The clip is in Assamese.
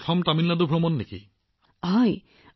প্ৰধানমন্ত্ৰীঃ এইটো আপোনাৰ প্ৰথম তামিলনাডু ভ্ৰমণ আছিল নেকি